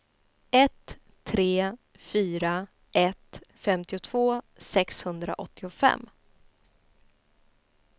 ett tre fyra ett femtiotvå sexhundraåttiofem